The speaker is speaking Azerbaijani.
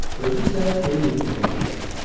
Özü isə Tiulinin yanına gəlir.